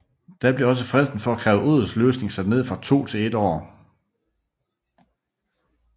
Da blev også fristen for at kræve odelsløsning sat ned fra to til et år